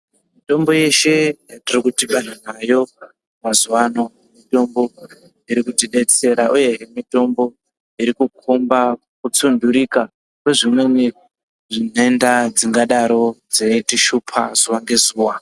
Mitombo yeshe yatiri kudhibana nayo mazuwa ano iri kuti detsera uyehe mitombo irikukomba kutsunhurika kwezvimweni nhenda dzingadaro dzeitishupa zuwa ngezuwa